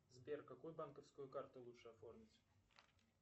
сбер какую банковскую карту лучше оформить